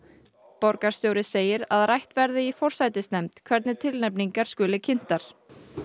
borgarstjóri segir að rætt verði í forsætisnefnd hvernig tilnefningar skuli kynntar